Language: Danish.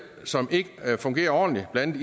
som ikke fungerer ordentligt blandt